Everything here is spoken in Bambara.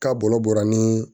K'a bolo bɔra ni